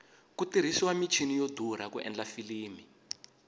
ku tirhisiwa michini yo durha ku endla filimi